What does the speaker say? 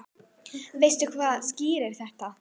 Veistu hvað skýrir þetta?